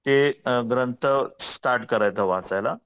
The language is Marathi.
ते ग्रंथ स्टार्ट करण्याचा वाचायला.